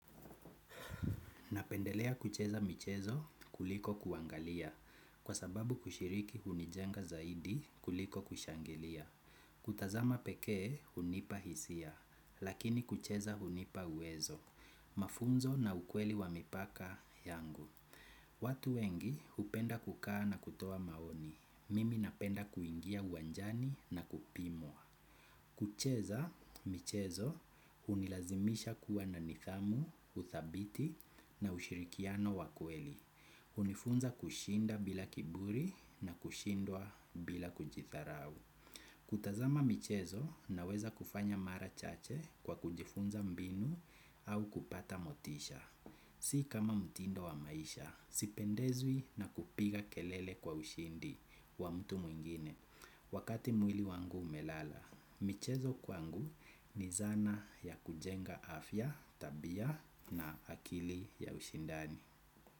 Napendelea kucheza michezo kuliko kuangalia kwa sababu kushiriki hunijenga zaidi kuliko kushangilia. Kutazama pekee hunipa hisia lakini kucheza hunipa uwezo mafunzo na ukweli wa mipaka yangu. Watu wengi hupenda kukaa na kutoa maoni. Mimi napenda kuingia uwanjani na kupimwa. Kucheza, michezo, hunilazimisha kuwa na nidhamu, uthabiti na ushirikiano wa kweli. hunifunza kushinda bila kiburi na kushindwa bila kujidharau. Kutazama michezo unaweza kufanya mara chache kwa kujifunza mbinu au kupata motisha. Si kama mtindo wa maisha, sipendezwi na kupiga kelele kwa ushindi wa mtu mwingine. Wakati mwili wangu umelala, michezo kwangu ni zana ya kujenga afya, tabia na akili ya ushindani.